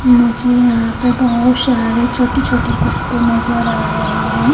मुझे यहाँ पे बहत सारे छोटे छोटे कुत्ते नजर आ रहे है।